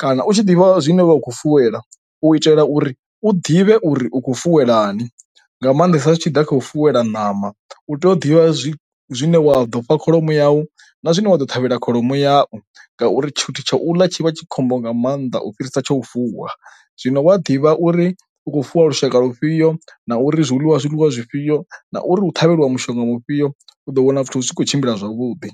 kana u tshi ḓivha zwine wavha ukho fuwela u itela uri u ḓivhe uri u khou fuwelani. Nga maanḓesa zwi tshi ḓa kha u fuwelwa ṋama, u tea u ḓivha zwi zwine wa ḓo fha kholomo yau na zwine wa ḓo ṱhavhela kholomo yau ngauri tshithu tsha u ḽa tshi vha tshi khombo nga maanḓa u fhirisa tsho u fuwa. Zwino wa ḓivha uri u khou fuwa lushaka lufhio na uri zwiḽiwa hu ḽiwa zwiḽiwa zwifhio na uri u ṱhavheliwa mushonga mufhio u ḓo wana zwithu zwi tshi kho tshimbila zwavhuḓi.